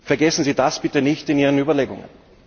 Vergessen Sie das bitte nicht in Ihren Überlegungen.